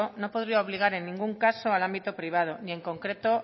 no podría obligar en ningún caso al ámbito privado ni en concreto